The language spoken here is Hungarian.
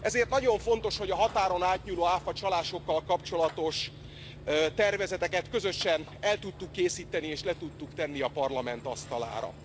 Ezért nagyon fontos, hogy a határon átnyúló áfacsalásokkal kapcsolatos tervezeteket közösen el tudtuk készíteni, és le tudtuk tenni a Parlament asztalára.